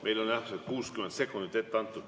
Ma vabandan, aga meile on 60 sekundit ette antud.